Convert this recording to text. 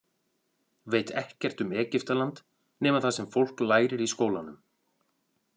Veit ekkert um Egyptaland nema það sem fólk lærir í skólanum.